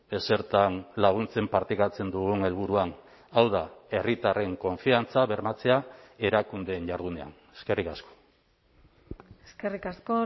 ezertan laguntzen partekatzen dugun helburuan hau da herritarren konfiantza bermatzea erakundeen jardunean eskerrik asko eskerrik asko